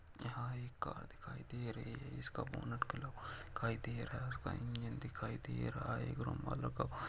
यहां एक कार दिखाई दे रहा है उसका बोनट करता दिखाई दे रहा है उसका इंजन दिखाई दे रहा है --